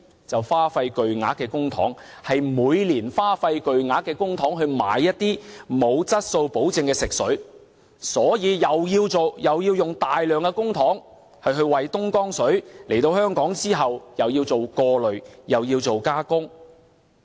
就是花費巨額公帑，是每年花費巨額公帑購買一些沒有質素保證的食水，所以又要花大量公帑為東江水來港後進行過濾和加工。